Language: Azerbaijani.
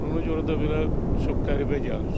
Ona görə də belə çox qəribə gəlir.